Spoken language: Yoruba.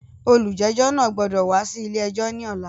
Olújẹ́jọ́ náà gbọ́dọ̀ wá sí ilé ẹjọ́ ní ọ̀la!